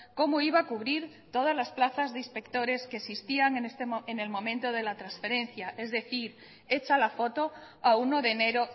cómo iba a cubrir todas las plazas de inspectores que existían en el momento de la transferencia es decir hecha la foto a uno de enero